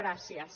gràcies